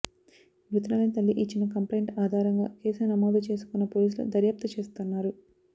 మృతురాలి తల్లి ఇచ్చిన కంప్లయింట్ ఆధారంగా కేసు నమోదు చేసుకున్న పోలీసులు దర్యాప్తు చేస్తున్నారు